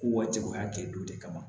Ko waati o y'a kɛ don de kama